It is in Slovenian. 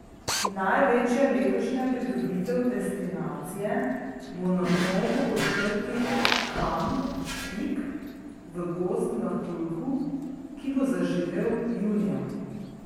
Največja letošnja pridobitev destinacije bo na novo odprti kamp Špik v Gozd Martuljku, ki bo zaživel junija.